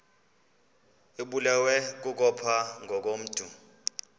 ibulewe kukopha ngokomntu